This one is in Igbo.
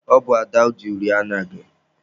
Ọ bụ Ada ji uri anya gị.